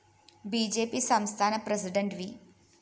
B J P സംസ്ഥാന president V